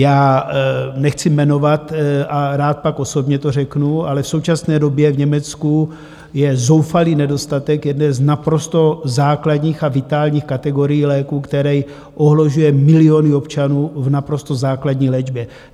Já nechci jmenovat a rád pak osobně to řeknu, ale v současné době v Německu je zoufalý nedostatek jedné z naprosto základních a vitálních kategorií léků, který ohrožuje miliony občanů v naprosto základní léčbě.